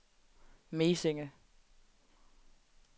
Mesinge